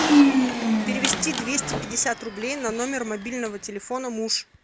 перевести двести пятьдесят рублей на номер мобильного телефона муж